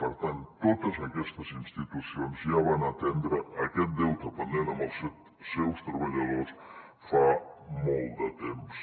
per tant totes aquestes institucions ja van atendre aquest deute pendent amb els seus treballadors fa molt de temps